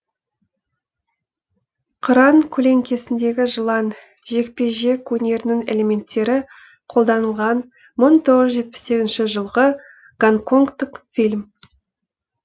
қыран көлеңкесіндегі жылан жекпе жек өнерінің элементтері қолданылған мың тоғыз жүз жетпіс сегізінші жылғы гонконгтық фильм